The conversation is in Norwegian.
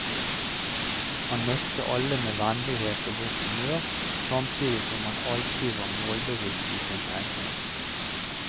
Han møtte alle med vennlighet og godt humør, samtidig som han alltid var målbevisst i sin tenkning.